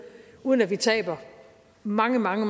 uden at vi taber mange mange